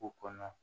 Ko kɔnɔ